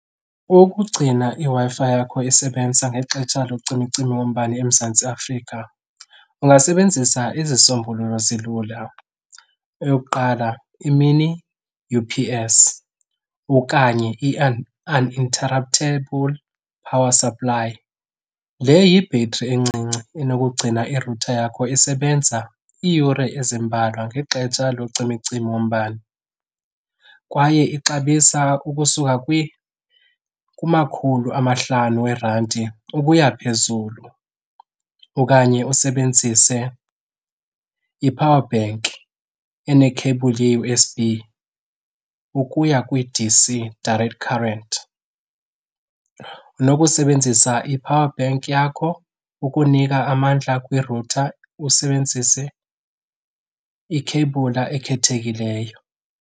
Ukugcina iWi-Fi yakho isebenza ngexesha locimicimi wombane eMzantsi Afrika ungasebenzisa ezi zisombululo zilula. Eyokuqala i-mini U_P_S okanye i-uninterruptible power supply. Le yi-battery encinci enokugcina irutha yakho isebenza iiyure ezimbalwa ngexetsha locimicimi wombane kwaye ixabisa ukusuka kumakhulu amahlanu weerandi ukuya phezulu. Okanye usebenzise iphawabenki enekheyibhuli ye-U_S_B ukuya kwi-D_C, direct current. Unokusebenzisa iphawabenki yakho ukunika amandla kwirutha, usebenzise ikheyibhuli ekhethekileyo.